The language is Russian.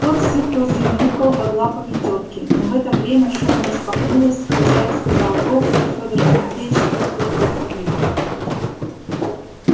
кот сипло замяукал под лапами тётки но в это время шуба распахнулась хозяин сказал гоп и федор тимофеич с тёткою прыгнули на пол